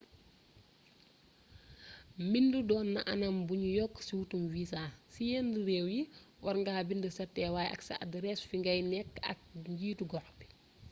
mbindu donna anam buñu yokk ci wutuum viza ci yen réew yi warnga mbindu sa tewaay ak sa adarees fingay nëkk ak njitu gox bi